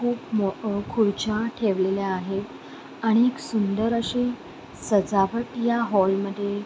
खुप मोठ खुर्च्या ठेवलेल्या आहेत आणि सुंदर अशी सजावट या हाॅल मध्ये --